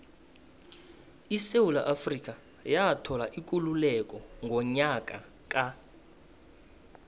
isewula afrika yathola ikululeko ngonyaka ka